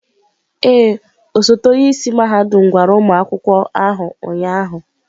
Ee, osote onye isi mahadum gwara ụmụ akwụkwọ ahụ ụnyahụ.